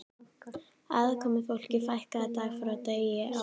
Aðkomufólki fækkaði dag frá degi á